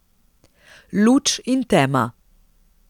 Luč in tema.